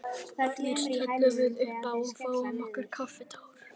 Fyrst hellum við uppá og fáum okkur kaffitár.